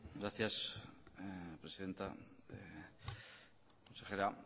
gracias presidenta consejera